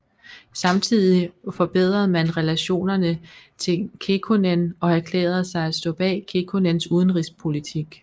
Samtidigt forbedrede man relationerne till Kekkonen og erklærede sig at stå bag Kekkonens udenrigspolitik